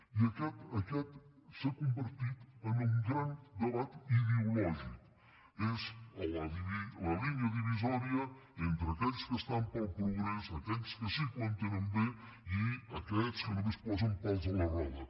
i aquest s’ha convertit en un gran debat ideològic és la línia divisòria entre aquells que estan pel progrés aquells que sí que ho entenen bé i aquests que només posen pals a la roda